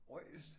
Ojs!